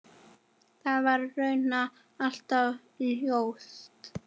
Það var raunar alltaf ljóst.